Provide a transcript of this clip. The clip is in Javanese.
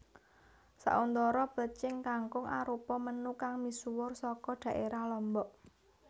Sauntara plecing kangkung arupa menu kang misuwur saka dhaérah Lombok